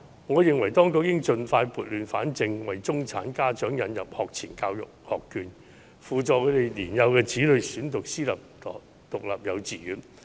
我認為當局應盡快撥亂反正，為中產家長引入學前教育學券，補助他們的年幼子女選讀私立獨立幼稚園。